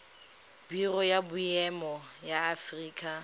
biro ya boemo ya aforika